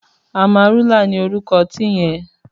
Àmárúlá ni órúkò òtin yèn